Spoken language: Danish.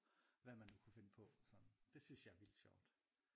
Hvad man nu kunne finde på altså. Det synes jeg er sjovt